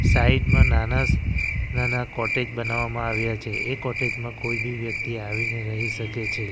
Side માં નાના નાના કોટેજ બનાવવામાં આવ્યા છે એ કોટેજ માં આવીને કોઈ બી વ્યક્તિ રહી શકે છે.